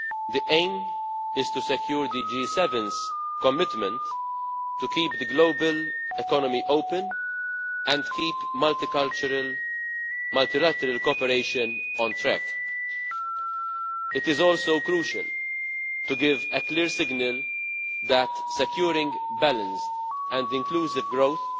The aim is to secure the G7's commitment to keep the global economy open and keep multicultural multilateral cooperation on track. It is also crucial to give a clear signal that securing balanced and inclusive growth